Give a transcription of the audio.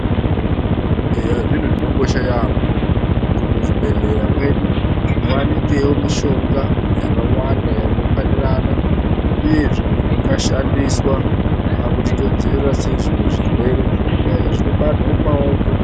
Eya zvinhu zvingakosha yeyamho kuti muzvibhedhlera mwedu , muwanikewo mishonga yakawanda inokwanirana uye zvinhu zvinga shandiswa pakuti tingadzivirira sei zvimwe zvirwere, kunyanya zvinobatwa mumaoko.